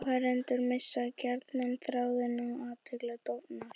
Áheyrendur missa gjarnan þráðinn og athyglin dofnar.